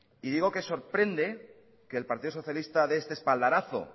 y digo que sorprende que el partido socialista dé este espaldarazo